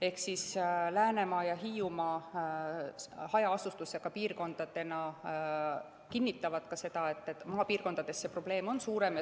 Ehk Läänemaa ja Hiiumaa hajaasustusega piirkondadena kinnitavad seda, et maapiirkondades on see probleem suurem.